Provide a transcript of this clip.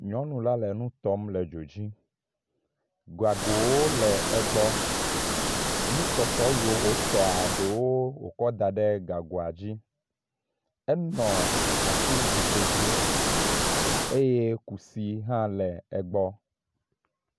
Nyɔnu la le nu tɔm le dzo dzi. Gagowo le egbɔ. Nutɔtɔ yiwo wotɔa ɖewo wokɔ da ɖe gagoe dzi. Enɔ atizikpui dzi eye kusi hã le egbɔ.